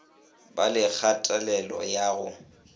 ba le kgatelelo ya go